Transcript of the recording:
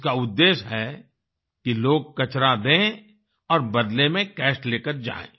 इसका उद्धेश्य है कि लोग कचरा दें और बदले में कैश लेकर जाएँ